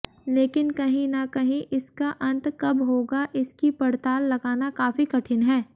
लेकिन कहीं ना कहीं इसका अंत कब होगा इसकी पड़ताल लगाना काफी कठिन है